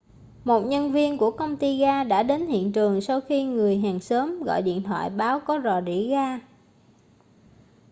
một nhân viên của công ty gas đã đến hiện trường sau khi một người hàng xóm gọi điện thoại báo có rò rỉ gas